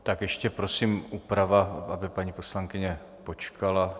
Tak ještě prosím úprava, aby paní poslankyně počkala...